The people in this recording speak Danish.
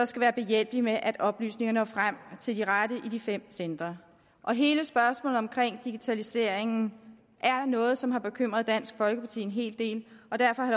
skal være behjælpelig med at oplysningerne når frem til de rette i de fem centre hele spørgsmålet omkring digitaliseringen er noget som har bekymret dansk folkeparti en hel del og derfor